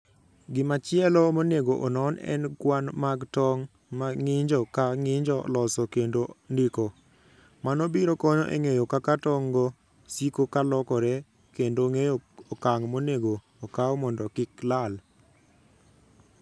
Gimachielo monego onon en kwan mag tong' ma ng'injo ka ng'injo loso kendo ndiko, mano biro konyo e ng'eyo kaka tong'go siko ka lokore kendo ng'eyo okang' monego okaw mondo kik lal.